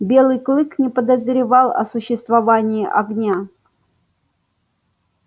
белый клык не подозревал о существовании огня